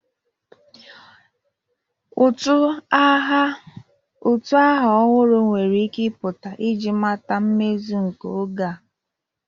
Utu aha ọhụrụ nwere ike ịpụta iji mata mmezu nke oge a.